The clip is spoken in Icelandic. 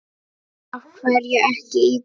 Af hverju ekki í dag?